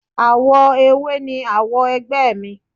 Awo ewé ni awo ẹgbẹ́ mi.